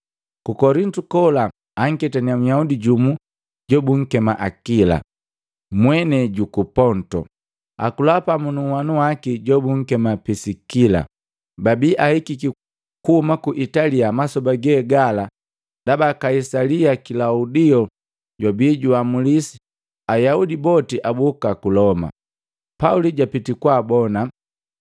Ku Kolintu kola, anketanya Nyaudi jumu jobunkema Akila, mwenei juku Ponto. Akula pamu nunhwanu waki jobunkema Pisikila, babi ahikiki kuhuma ku Italia masoba ge gala ndaba Kaisali Kilaudio jwabi juamulisi Ayaudi boti aboka ku Loma. Pauli jwapiti kwaabona,